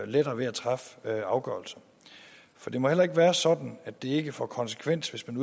lettere ved at træffe afgørelser for det må heller ikke være sådan at det ikke får konsekvenser hvis man